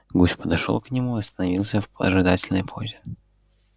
гусь подошёл к нему и остановился в ожидательной позе